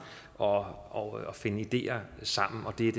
og og finde ideer sammen og det er